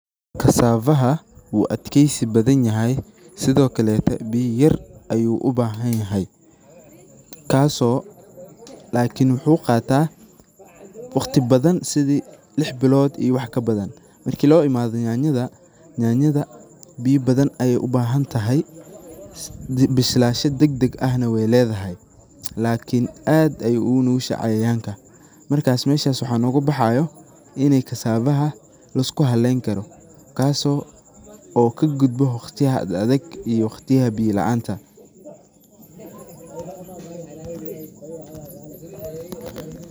Kasafaha wuu adkeysi badan yahay, sidokalete biya yar ayu ubahan yahay kaaso, lakiin wuxuu qaataa waqti badan sidii lix bilood iyo wax. kabadan. Markii lo imaado nyaanyada, nyaanyada biya badan ayay ubahantahay, bislansha degdeg eh na way ledahay lakiin aad ayay ugu nugushahay cayayanka, markas meshas waxaa noga baxaayo inay kasafaha lisku Halayn karo kaaso oo kagudbo waqtiyaha ad adeg iyo waqtiyaha biya laanta